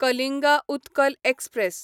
Kalinga Utkal express